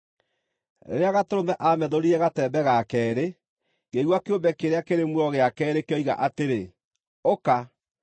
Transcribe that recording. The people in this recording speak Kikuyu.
Rĩrĩa Gatũrũme aamethũrire gatembe ga keerĩ, ngĩigua kĩũmbe kĩrĩa kĩrĩ muoyo gĩa keerĩ kĩoiga atĩrĩ, “Ũka!”